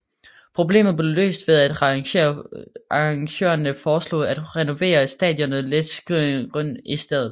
Problemet blev løst ved at arrangørerne foreslog at renovere stadionet Letzigrund i stedet